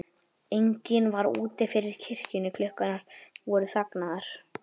Enginn var úti fyrir kirkjunni, klukkurnar voru þagnaðar.